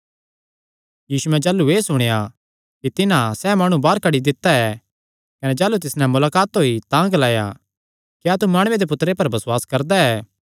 यीशुयैं जाह़लू एह़ सुणेया कि तिन्हां सैह़ माणु बाहर कड्डी दित्ता ऐ कने जाह़लू तिस नैं मुलाकात होई तां ग्लाया क्या तू माणुये दे पुत्तरे पर बसुआस करदा ऐ